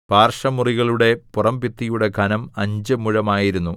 പാർശ്വമുറികളുടെ പുറംഭിത്തിയുടെ ഘനം അഞ്ച് മുഴമായിരുന്നു